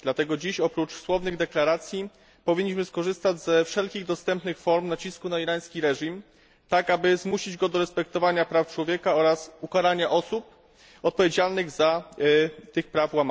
Dlatego dziś oprócz słownych deklaracji powinniśmy skorzystać ze wszelkich dostępnych form nacisku na irański reżim tak, aby zmusić go do respektowania praw człowieka oraz ukarania osób odpowiedzialnych za łamanie tych praw.